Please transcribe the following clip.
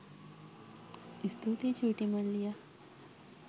ස්තුතියි චුටි මල්ලියා